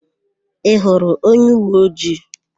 Ị hụrụ onyeuweojii?